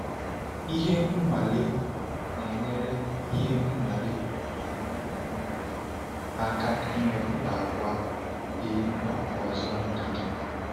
Ihe nwale na-enyere Ihe nwale na-enyere anyị um aka ịmepụta àgwà dị mkpa ọzọ-ndidi.